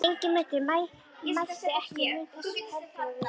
Ingimundur mælti: Ekki mun þess heldur við þurfa.